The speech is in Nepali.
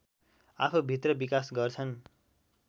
आफूभित्र विकास गर्छन्